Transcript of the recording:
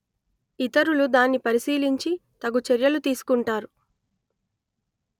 ఇతరులు దాన్ని పరిశీలించి తగు చర్యలు తీసుకుంటారు